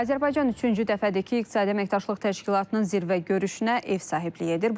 Azərbaycan üçüncü dəfədir ki, iqtisadi əməkdaşlıq təşkilatının zirvə görüşünə ev sahibliyi edir.